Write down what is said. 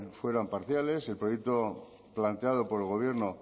fueran parciales el proyecto planteado por el gobierno